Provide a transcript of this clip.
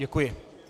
Děkuji.